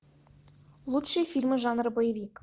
лучшие фильмы жанра боевик